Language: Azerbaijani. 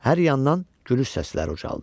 Hər yandan gülüş səsləri ucaldı.